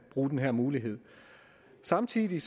bruge den her mulighed samtidig